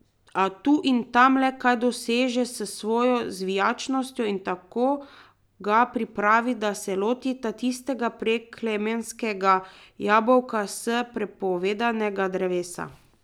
A tu in tam le kaj doseže s svojo zvijačnostjo, in tako ga pripravi, da se lotita tistega preklemanskega jabolka s prepovedanega drevesa.